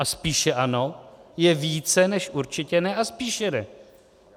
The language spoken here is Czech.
A spíše ano je více než určitě ne a spíše ne.